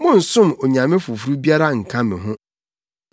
“Monnsom onyame foforo biara nka me ho.